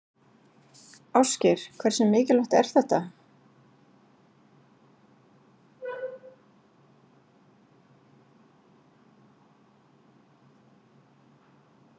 Ásgeir: Hversu mikilvægt er þetta?